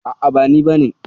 A'a ba ni bane ba.